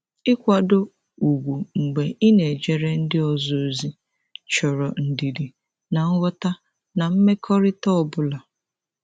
Ịkwado ugwu mgbe ị na-ejere ndị ọzọ ozi chọrọ ndidi na nghọta na mmekọrịta ọ bụla.